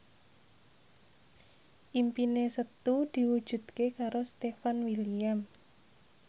impine Setu diwujudke karo Stefan William